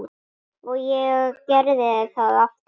Og ég gerði það aftur.